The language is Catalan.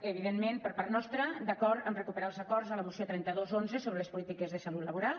evidentment per part nostra d’acord amb recuperar els acords de la moció trenta dos xi sobre les polítiques de salut laboral